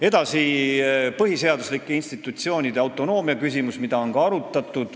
Edasi, põhiseaduslike institutsioonide autonoomia, mida on ka arutatud.